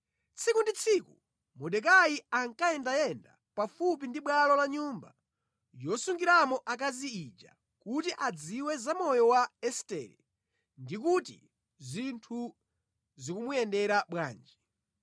Tsiku ndi tsiku Mordekai ankayendayenda pafupi ndi bwalo la nyumba yosungiramo akazi ija kuti adziwe za moyo wa Estere ndi kuti zinthu zikumuyendera bwanji.